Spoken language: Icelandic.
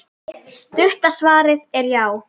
Stutta svarið er já!